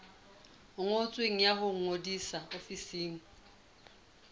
ngotsweng ya ho ngodisa ofising